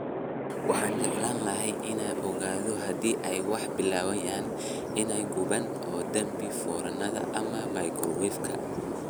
Waxaan jeclaan lahaa inaan ogaado haddii ay wax bilaabayaan inay gubaan oo dami foornada ama microwave-ka